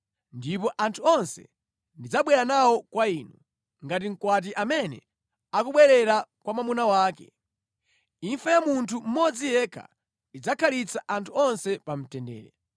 ndipo anthu onse ndidzabwera nawo kwa inu, ngati mkwati amene akubwerera kwa mwamuna wake. Imfa ya munthu mmodzi yekha idzakhalitsa anthu onse pa mtendere.”